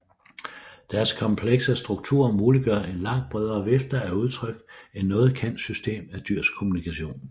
Deres komplekse struktur muliggør en langt bredere vifte af udtryk end noget kendt system af dyrs kommunikation